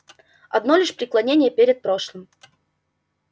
одно лишь преклонение перед прошлым